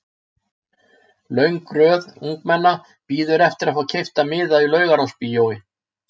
Löng röð ungmenna bíður eftir að fá keypta miða í Laugarásbíói.